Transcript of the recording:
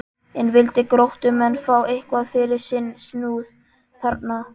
En vildu Gróttumenn fá eitthvað fyrir sinn snúð þarna?